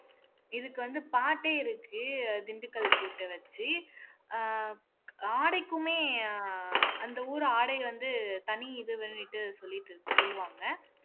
இதுக்கு வந்து பாட்டே இருக்கு திண்டுக்கல் பூட்ட வச்சு அஹ் ஆடைக்குமே அந்த ஊர் ஆடை வந்து தனி இதுன்னுட்டு சொல்லிட்டு சொல்லுவாங்க